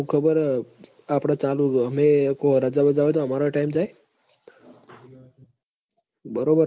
હું ખબર હ આપડ ચાલવું જોવ ઓમય કોઈ રજા બજા હોય તો અમારોય time જાય બરોબર